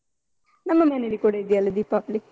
ನಮ್ಮ ಮನೇಲಿ ಕೂಡ ಇದ್ಯಲ್ಲ ದೀಪಾವಳಿ.